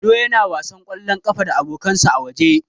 Ado yana wasan ƙwallon ƙafa da abokansa a waje.